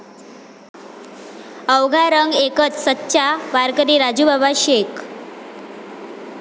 अवघा रंग एकच, सच्चा वारकरी राजूबाबा शेख!